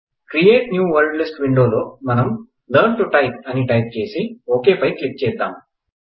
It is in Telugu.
క్రియేట్ న్యూ వర్డ్ లిస్ట్ విండోలో మనం లెర్న్ టో టైప్ అని టైప్ చేసి ఓకె పై క్లిక్ చేదాం